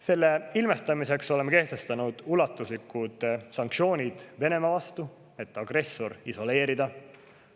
Selle ilmestamiseks oleme kehtestanud ulatuslikud sanktsioonid Venemaa vastu, et agressor isoleerida.